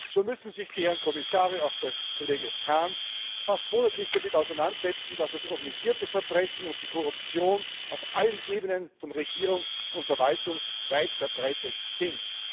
So müssen sich die Herren Kommissare, auch der Kollege Hahn, fast monatlich damit auseinandersetzen, dass das organisierte Verbrechen und die Korruption auf allen Ebenen von Regierung und Verwaltung weit verbreitet sind.